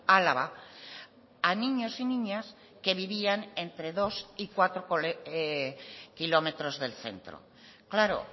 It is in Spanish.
álava a niños y niñas que vivían entre dos y cuatro kilómetros del centro claro